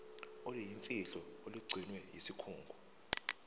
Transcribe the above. oluyimfihlo olugcinwe yisikhungo